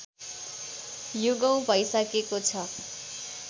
युगौँ भइसकेको छ